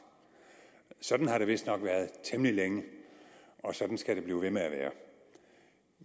sådan har det vistnok været temmelig længe og sådan skal det blive ved med at være